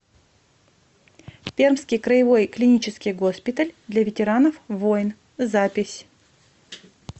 пермский краевой клинический госпиталь для ветеранов войн запись